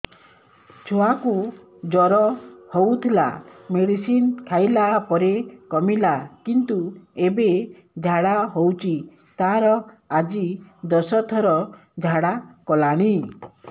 ଛୁଆ କୁ ଜର ହଉଥିଲା ମେଡିସିନ ଖାଇଲା ପରେ କମିଲା କିନ୍ତୁ ଏବେ ଝାଡା ହଉଚି ତାର ଆଜି ଦଶ ଥର ଝାଡା କଲାଣି